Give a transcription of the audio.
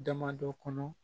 Damadɔ kɔnɔ